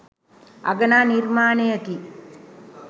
අගනා නිර්මාණයකි.